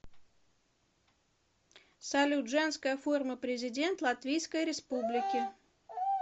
салют женская форма президент латвийской республики